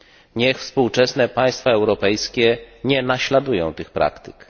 Niech współczesne państwa europejskie nie naśladują tych praktyk.